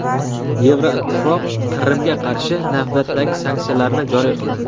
Yevroittifoq Qrimga qarshi navbatdagi sanksiyalarni joriy qildi.